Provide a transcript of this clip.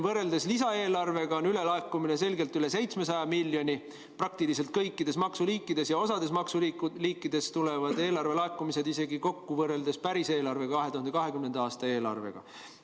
Võrreldes lisaeelarvega on meil ülelaekumine selgelt üle 700 miljoni praktiliselt kõikide maksuliikide puhul ja osa maksuliikide puhul läheb eelarvelaekumine kokku isegi päris eelarvega, 2020. aasta eelarvega.